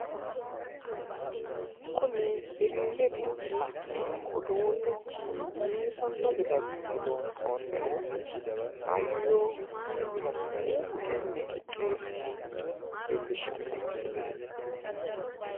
Kuni illetenni la'neemo uduunnichi biifanno gede assine lonsoonnihu hayyo hiito assine budunni qixxeessinanniro leelishshanno misileeti